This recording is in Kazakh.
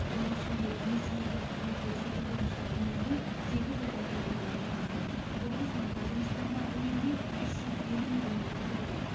оның ішінде несиеге қызмет көрсету бойынша үнемдеу сегіз жүз миллион доллардан асады құрылыс монтаж жұмыстарына үнемдеу сегіз жүз елу миллион доллар болады